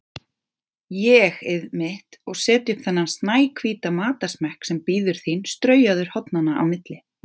ÉG-ið mitt, og setja upp þennan snæhvíta matarsmekk sem bíður þín straujaður hornanna á milli.